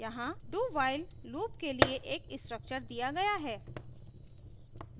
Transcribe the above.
यहाँ dowhile loop के लिए एक structure दिया गया है